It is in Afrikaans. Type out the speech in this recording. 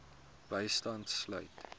bystand sluit